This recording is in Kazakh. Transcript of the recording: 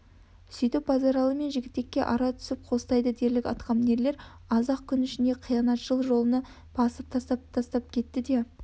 сөйтіп базаралы мен жігітекке ара түсіп қостайды дерлік атқамінерлер аз-ақ күн ішінде қиянатшыл жолына басып тастап-тастап кетті де